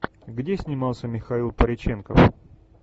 где снимался михаил пореченков